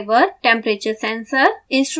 driver temperature sensor